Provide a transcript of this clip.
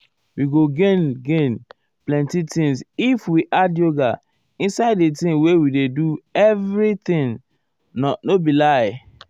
we go gain gain plenty thing if we add yoga inside the thing wey we dey always do everything. nor um be lie o.